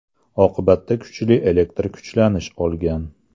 Oqibatda kuchli elektr kuchlanish olgan.